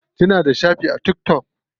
Kina da shafi a tiktok?